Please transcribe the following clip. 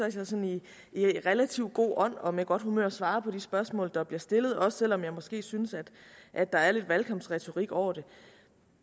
i sådan relativt god ånd og med godt humør svarer på de spørgsmål der bliver stillet også selv om jeg måske synes at der er lidt valgkampsretorik over det